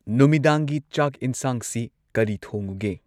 ꯅꯨꯃꯤꯗꯥꯡꯒꯤ ꯆꯥꯛ ꯏꯟꯁꯥꯡꯁꯤ ꯀꯔꯤ ꯊꯣꯡꯉꯨꯒꯦ?